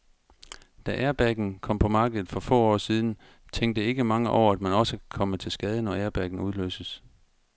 Da airbagen kom på markedet for få år siden, tænkte ikke mange over, at man også kan komme til skade, når airbagen udløses.